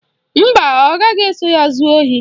Mba, ọ gaghị eso ya zuo ohi